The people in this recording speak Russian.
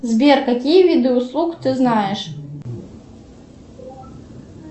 сбер какие виды услуг ты знаешь